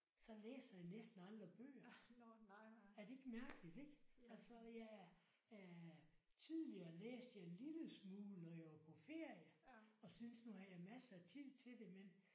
Så læser jeg næsten aldrig bøger. Er det ikke mærkeligt ik? Altså jeg er øh tidligere læste jeg en lille smule når jeg var på ferie og synes nu havde jeg masser af tid til det men